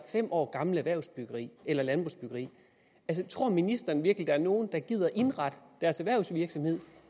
fem år gamle erhvervsbyggerier eller landbrugsbyggerier tror ministeren virkelig at der er nogen der gider at indrette deres erhvervsvirksomhed